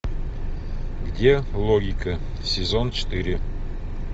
где логика сезон четыре